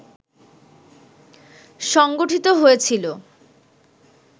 সংঘটিত হয়েছিল